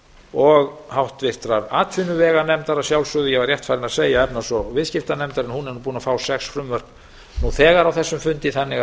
og háttvirtrar atvinnuveganefndar að sjálfsögðu ég var rétt farinn að segja efnahags og viðskiptanefndar en hún er búin að fá sex frumvörp nú þegar á þessum fundi þannig